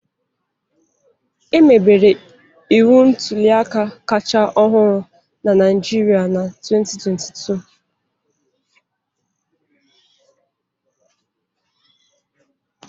Emebere iwu ntuli aka kacha ọhụrụ na Naijiria na 2022